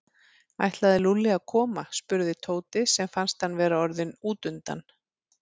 Ætlaði Lúlli að koma? spurði Tóti sem fannst hann vera orðinn útundan.